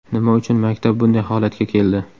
Nima uchun maktab bunday holatga keldi?